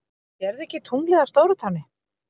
SÉRÐU EKKI TUNGLIÐ Á STÓRUTÁNNI!